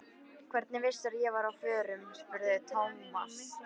Hvernig vissirðu að ég væri á förum? spurði Thomas.